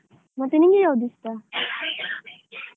ಮತ್ತೆ ನಿಮಗೆ ಯಾವುದು ಇಷ್ಟ? .